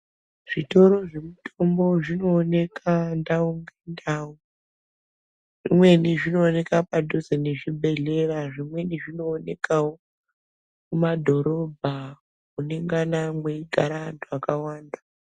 Zvitoro zvinotengesa mitombo zvinooneka ndau nendau, zvimweni zvinoonekwa padhuze nezvibhehlera zvimweni zvinoonekawo mumadhorobha munengana mweigara antu akawanda.